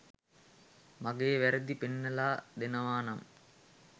මගේ වැරදි පෙන්නලා දෙනවා නම්.